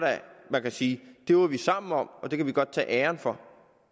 man kan sige at det var vi sammen om og det kan vi sammen godt tage æren for